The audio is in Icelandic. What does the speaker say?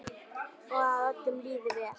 Og að öllum liði vel.